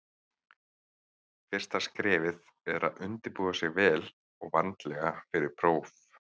Fyrsta skrefið er að undirbúa sig vel og vandlega fyrir próf.